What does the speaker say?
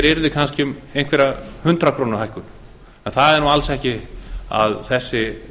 yrði kannski einhver hundrað króna hækkun en það er alls ekki að þessi